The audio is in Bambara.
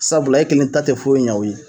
Sabula e kelen ta te foyi ɲa o ye